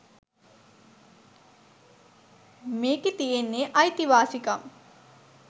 මේකෙ තියෙන්නේ අයිතිවාසිකම්